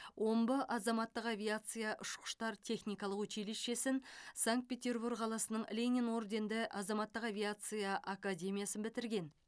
омбы азаматтық авиация ұшқыштар техникалық училищесін санкт петербур қаласының ленин орденді азаматтық авиация академиясын бітірген